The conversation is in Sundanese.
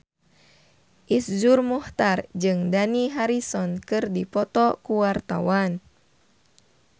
Iszur Muchtar jeung Dani Harrison keur dipoto ku wartawan